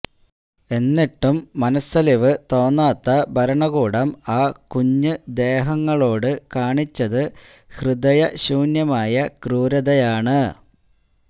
എന്നിട്ടും മനസ്സലിവ് തോന്നാത്ത ഭരണകൂടം ആ കുഞ്ഞ് ദേഹങ്ങളോട് കാണിച്ചത് ഹൃദയ ശൂന്യമായ ക്രൂരതയാണ്